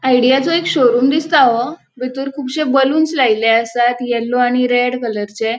आइडीयाचो एक शोरूम दिसता हो बितर कुबशे बलुन्स लायल्ले आसात येल्लो आणि रेड कलरचे .